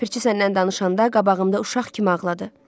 Ləpirçi səndən danışanda qabağımda uşaq kimi ağladı.